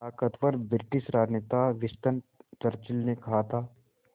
ताक़तवर ब्रिटिश राजनेता Winston Churchill ने कहा था